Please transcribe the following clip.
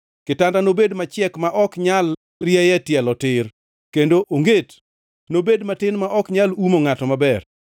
Kitanda nobed machiek ma ok nyal rieye tielo tir, kendo onget nobed matin ma ok nyal umo ngʼato maber.